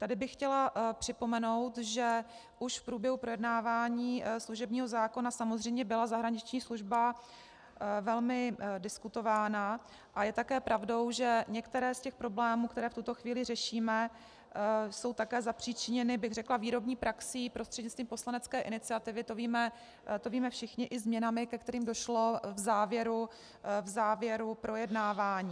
Tady bych chtěla připomenout, že už v průběhu projednávání služebního zákona samozřejmě byla zahraniční služba velmi diskutována, a je také pravdou, že některé z těch problémů, které v tuto chvíli řešíme, jsou také zapříčiněny, bych řekla, výrobní praxí prostřednictvím poslanecké iniciativy, to víme všichni, i změnami, ke kterým došlo v závěru projednávání.